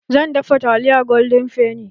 Zan dafa taliyar golden fenny